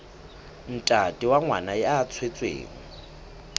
ntate wa ngwana ya tswetsweng